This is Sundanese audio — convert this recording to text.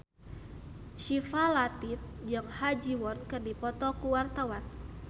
Syifa Latief jeung Ha Ji Won keur dipoto ku wartawan